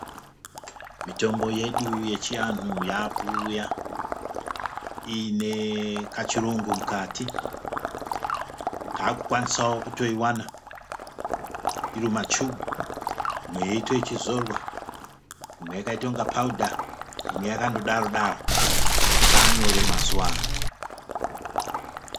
Mitombo yedu yechiantu yakuuya iine kachirungu mukati. Taakukwanisawo kutoiwana irimumachubhu imwe yeiite ichizorwa. Imwe yakaite kungephaudha, imwe yakandodaro. Zvaanyore mazuva ano.